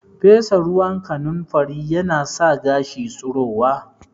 Fesa ruwan kanunfari yana sa gashi tsirowa